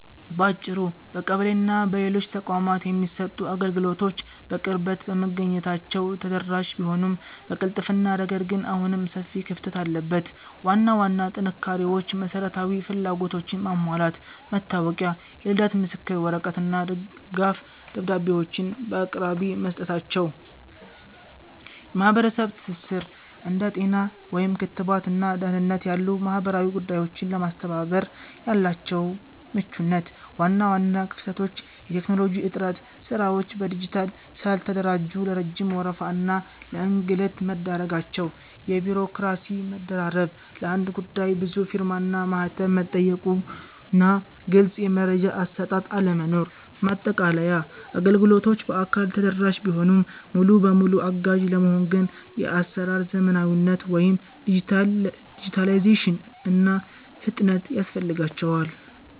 ባጭሩ፣ በቀበሌና በሌሎች ተቋማት የሚሰጡ አገልግሎቶች በቅርበት በመገኘታቸው ተደራሽ ቢሆኑም፣ በቅልጥፍና ረገድ ግን አሁንም ሰፊ ክፍተት አለበት። ዋና ዋና ጥንካሬዎች መሰረታዊ ፍላጎቶችን ማሟላት፦ መታወቂያ፣ የልደት ምስክር ወረቀት እና ድጋፍ ደብዳቤዎችን በአቅራቢያ መስጠታቸው። የማህበረሰብ ትስስር፦ እንደ ጤና (ክትባት) እና ደህንነት ያሉ ማህበራዊ ጉዳዮችን ለማስተባበር ያላቸው ምቹነት። ዋና ዋና ክፍተቶች የቴክኖሎጂ እጥረት፦ ስራዎች በዲጂታል ስላልተደራጁ ለረጅም ወረፋ እና ለእንግልት መዳረጋቸው። የቢሮክራሲ መደራረብ፦ ለአንድ ጉዳይ ብዙ ፊርማና ማህተም መጠየቁና ግልጽ የመረጃ አሰጣጥ አለመኖር። ማጠቃለያ፦ አገልግሎቶቹ በአካል ተደራሽ ቢሆኑም፣ ሙሉ በሙሉ አጋዥ ለመሆን ግን የአሰራር ዘመናዊነት (ዲጂታላይዜሽን) እና ፍጥነት ያስፈልጋቸዋል።